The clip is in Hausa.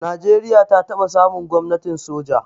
Najeriya ta taba samun gwamnatin soja.